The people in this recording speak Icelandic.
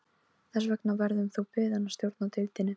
Þess vegna verður þú beðinn að stjórna deildinni